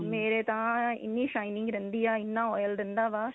ਮੇਰੇ ਤਾਂ ਇੰਨੀ shining ਰਹਿੰਦੀ ਆ ਇੰਨਾ oil ਰਹਿੰਦਾ ਵਾ